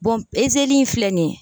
in filɛ nin ye.